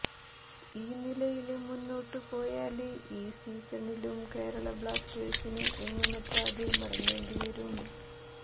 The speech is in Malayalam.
ഈ നിലയില് മുന്നോട്ട് പോയാല് ഈ സീസണിലും കേരള ബ്ലാസ്റ്റേഴ്സിന് എങ്ങുമെത്താതെ മടങ്ങേണ്ടി വരും